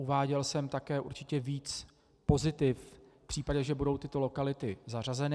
Uváděl jsem také určitě víc pozitiv v případě, že budou tyto lokality zařazeny.